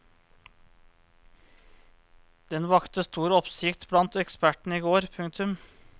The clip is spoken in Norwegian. Den vakte stor oppsikt blant ekspertene i går. punktum